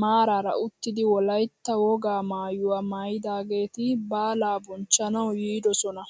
maarara uttidi wolaytta wogaa maayuwaa maayidaageti baalaa bonchchanawu yiidosona!